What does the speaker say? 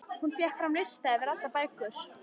Hún fékk fram lista yfir allar bækur